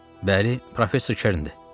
Bəli, professor Kerndir.